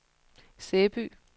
Sæby